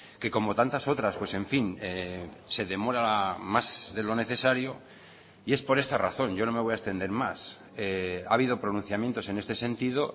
que como tantas otras pues en fin se demora más de lo necesario y es por esta razón yo no me voy a extender más ha habido pronunciamientos en este sentido